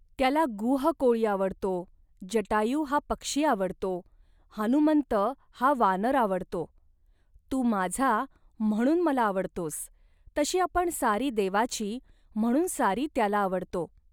त्याला गुह कोळी आवडतो, जटायू हा पक्षी आवडतो, हनुमंत हा वानर आवडतो. तू माझा, म्हणून मला आवडतोस, तशी आपण सारी देवाची, म्हणून सारी त्याला आवडतो